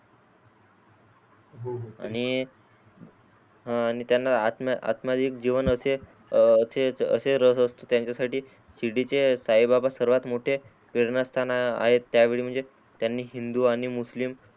आणि आणि त्यांनी आत्मा आत्मदीक जीवन असे असेच रस असतो त्यांच्यासाठी शिर्डीचे साई बाबा सर्वात मोठे पेरणा स्थान आहे. त्या वेळी म्हणजे त्यांनी हिंदू आणि मुस्लिम